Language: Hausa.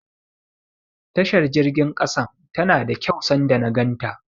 Tashar jirgin ƙasan tana da kyau sanda na ganta.